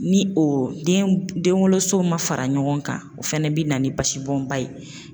Ni o den denwoloso ma fara ɲɔgɔn kan o fana bɛ na ni basibɔnba ye.